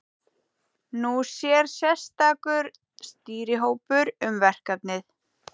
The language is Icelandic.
Nú sér sérstakur stýrihópur um verkefnið.